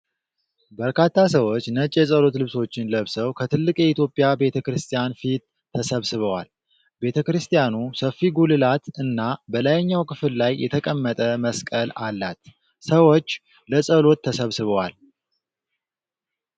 በርካታ ሰዎች ነጭ የጸሎት ልብሶችን ለብሰው ከትልቅ የኢትዮጵያ ቤተክርስቲያን ፊት ተሰብስበዋል። ቤተክርስቲያኑ ሰፊ ጉልላት እና በላይኛው ክፍል ላይ የተቀመጠ መስቀል አላት። ሰዎች ለጸሎት ተሰብስበዋል።